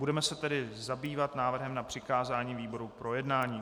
Budeme se tedy zabývat návrhem na přikázání výborům k projednání.